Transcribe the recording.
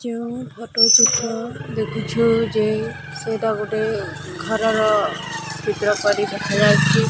ଯେଉଁ ଫୋଟୋ ଚିତ୍ର ଦେଖୁଛୁ ଯେ ସେଇଟା ଗୋଟେ ଘରର ଚିତ୍ର ପରି ଦେଖାଯାଉଛି।